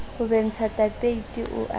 ho bentsha tapeiti o a